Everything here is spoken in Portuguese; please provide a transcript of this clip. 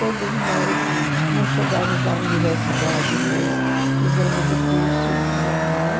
Todas nós não chegamos à universidade, mas fizemos o curso normal.